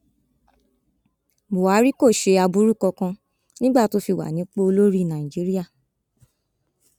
buhari kò ṣe ohun aburú kankan nígbà tó fi wà nípò olórí nàìjíríà